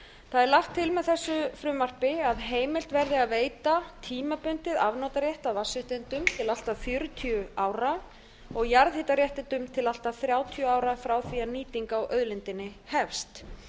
það er lagt til með þessu frumvarpi að heimilt verði að veita tímabundinn afnotarétt að vatnsaflsréttindum til allt að fjörutíu ára og jarðhitaréttindum til allt að þrjátíu ára frá því að nýting á auðlindinni hefst